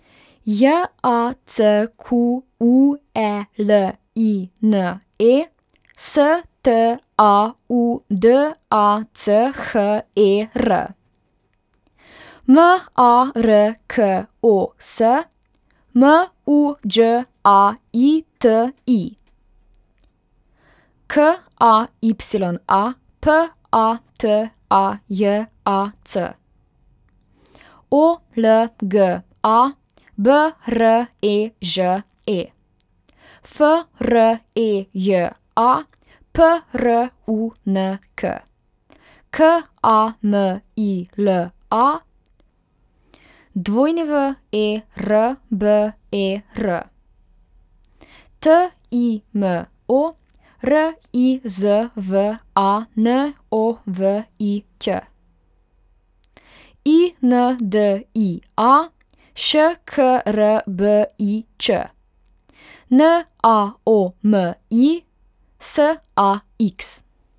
J A C Q U E L I N E, S T A U D A C H E R; M A R K O S, M U Đ A I T I; K A Y A, P A T A J A C; O L G A, B R E Ž E; F R E J A, P R U N K; K A M I L A, W E R B E R; T I M O, R I Z V A N O V I Ć; I N D I A, Š K R B I Č; N A O M I, S A X.